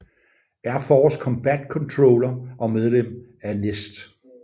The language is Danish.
Air Force Combat Controller og medlem af NEST